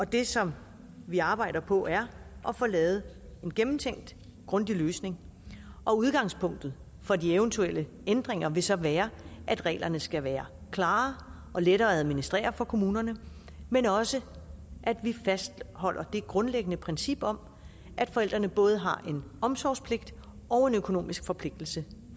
det som vi arbejder på er at få lavet en gennemtænkt grundig løsning udgangspunktet for de eventuelle ændringer vil så være at reglerne skal være klare og lette at administrere for kommunerne men også at vi fastholder det grundlæggende princip om at forældrene både har en omsorgspligt og en økonomisk forpligtelse